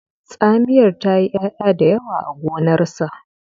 tsamiyar ta yi ya'ya da yawa a gonarsa